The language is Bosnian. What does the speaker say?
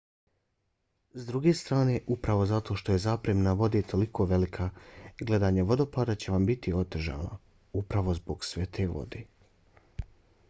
s druge strane upravo zato što je zapremina vode toliko velika gledanje vodopada će vam biti otežano—upravo zbog sve te vode!